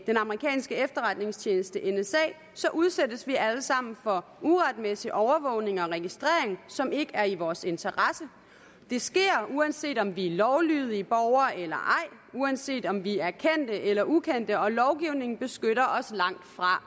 den amerikanske efterretningstjeneste nsa udsættes vi alle sammen for uretmæssig overvågning og registrering som ikke er i vores interesse det sker uanset om vi er lovlydige borgere eller ej uanset om vi er kendte eller ukendte og lovgivningen beskytter os langtfra